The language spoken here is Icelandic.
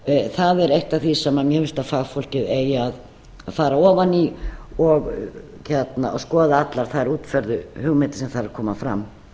það er eitt af því sem mér finnst að fagfólkið eigi að fara ofan í og skoða allar þær útfærðu hugmyndir sem þar koma fram